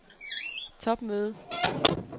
topmøde